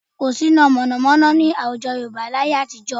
Kò sí iná mọ̀nàmọ́ná ní àwùjọ Yorùbá láyé àtijọ́